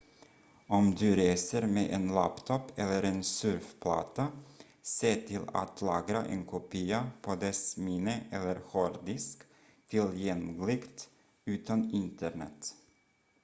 om du reser med en laptop eller en surfplatta se till att lagra en kopia på dess minne eller hårddisk tillgängligt utan internet